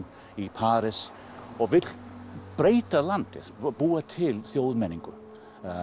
í París og vilja breyta landinu búa til þjóðmenningu